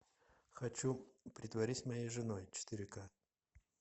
хочу притворись моей женой четыре ка